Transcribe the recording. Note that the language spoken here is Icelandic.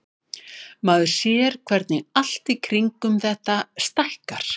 Maður sér hvernig allt í kringum þetta stækkar.